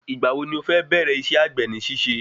Ìgbà wo ni o fẹ́ bẹ̀rẹ isẹ́ àgbè ní ṣíṣe?